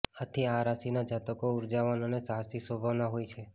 આથી આ રાશિના જાતકો ઉર્જાવાન અને સાહસી સ્વભાવના હોય છે